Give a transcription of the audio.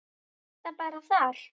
Er það bara þar?